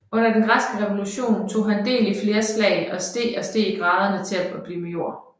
Under den græske revolution tog han del i flere slag og steg i graderne til at blive major